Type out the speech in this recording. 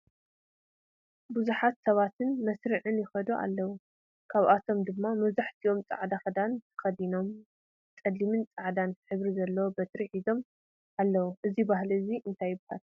ብዙሓት ሰባትን ብመስርዕ ይከዱ ኣለው ካብኣቶም ድማ መብዛሕቲኦም ፃዕዳ ክዳን ተከዲኖምን ፀሊምን ፃዕዳን ሕብሪ ዘለዎ በትሪ ሒዞም ኣለው። እዙይ ባህሊ እንታይ ይብሃል?